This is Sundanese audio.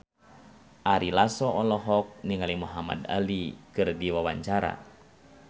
Ari Lasso olohok ningali Muhamad Ali keur diwawancara